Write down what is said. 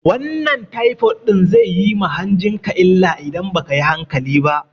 Wannan taifod ɗin zai yi ma hanjin ka illa idan ba kayi hankali ba